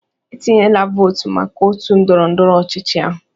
"Etinyela vootu maka otu ndọrọ ndọrọ ọchịchị ahụ"